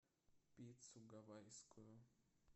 пиццу гавайскую